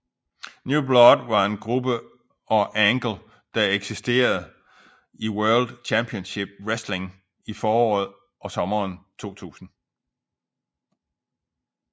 New Blood var en gruppe og angle der eksisterede i World Championship Wrestling i foråret og sommeren 2000